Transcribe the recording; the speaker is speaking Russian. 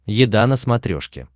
еда на смотрешке